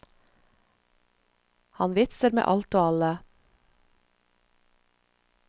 Han vitser med alt og alle.